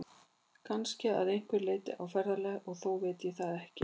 Kannski að einhverju leyti á ferðalagi, og þó veit ég það ekki.